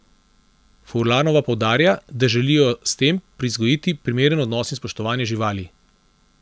Furlanova poudarja, da želijo s tem privzgojiti primeren odnos in spoštovanje živali.